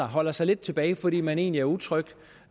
holder sig lidt tilbage fordi man egentlig er utryg